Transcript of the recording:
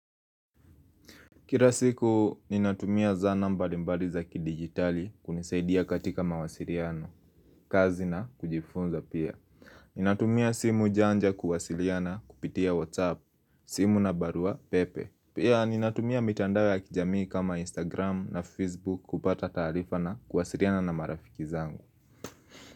Kila siku, ninatumia zana mbalimbali za kidigitali kunisaidia katika mawasiliano, kazi na kujifunza pia. Ninatumia simu janja kuwasiliana kupitia WhatsApp, simu na barua pepe. Pia ninatumia mitandao ya kijamii kama Instagram na Facebook kupata taarifa na kuwasiliana na marafiki zangu.